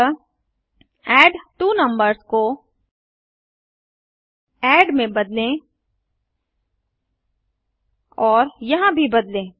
अतः एडट्वोनंबर्स को एड में बदलें और यहाँ भी बदलें